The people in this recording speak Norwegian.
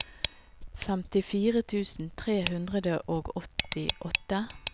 femtifire tusen tre hundre og åttiåtte